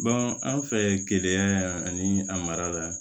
an fɛ keleya yan ani a mara la